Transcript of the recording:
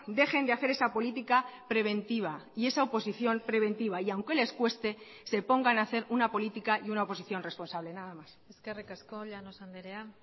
dejen de hacer esa política preventiva y esa oposición preventiva y aunque les cueste se pongan hacer una política y una oposición responsable nada más eskerrik asko llanos andrea